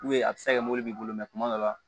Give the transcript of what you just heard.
a bɛ se ka kɛ mɔbili b'i bolo mɛ kuma dɔ la